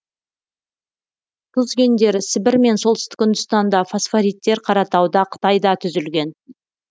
тұз кендері сібір мен солтүстік үндістанда фосфориттер қаратауда қытайда түзілген